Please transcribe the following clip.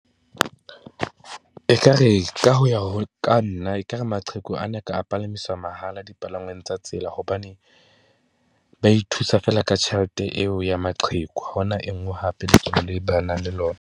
Ekare ka ho ya , ka nna ekare maqheku a ne a ka a palamiswa mahala dipalangwang tsa tsela, hobane ba ithusa feela ka tjhelete eo ya maqheku. Ha hona e nngwe hape le nang le lona.